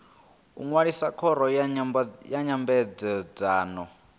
u ṅwalisa khoro ya nyambedzano